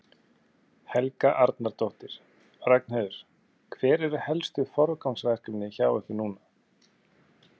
Helga Arnardóttir: Ragnheiður, hver eru helstu forgangsverkefnin hjá ykkur núna?